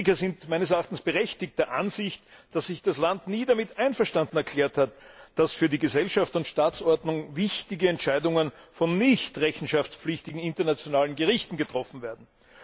Kritiker sind meines Erachtens berechtigt der Ansicht, dass sich das Land nie damit einverstanden erklärt hat, dass für die Gesellschafts und Staatsordnung wichtige Entscheidungen von nicht rechenschaftspflichtigen internationalen Gerichten getroffen werden.